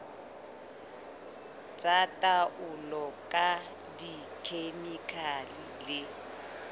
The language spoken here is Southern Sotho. tsa taolo ka dikhemikhale le